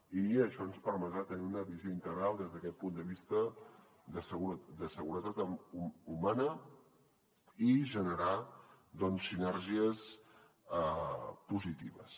i això ens permetrà tenir una visió integral des d’aquest punt de vista de seguretat humana i generar sinergies positives